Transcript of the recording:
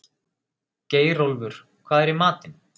Geirólfur, hvað er í matinn?